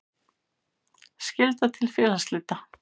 Skylda til félagsslita.